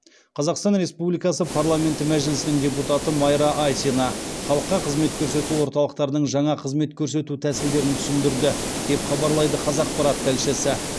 қазақстан республикасы парламенті мәжілісінің депутаты майра айсина халыққа қызмет көрсету орталықтарының жаңа қызмет көрсету тәсілдерін түсіндірді деп хабарлайды қазақпарат тілшісі